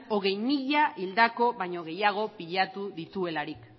hogei mila hildako baino gehiago pilatu dituelarik